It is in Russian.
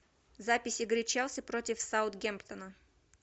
запись игры челси против саутгемптона